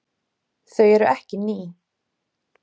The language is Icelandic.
Þau eru ekki ný.